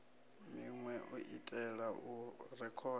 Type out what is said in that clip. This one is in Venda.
minwe u itela u rekhoda